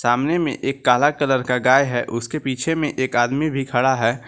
सामने में एक काला कलर का गाय हैं उसके पीछे में एक आदमी भी खड़ा है।